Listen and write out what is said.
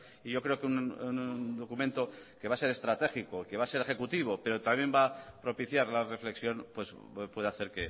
y yo creo que un documento que va a ser estratégico que va a ser ejecutivo pero también va a propiciar la reflexión puede hacer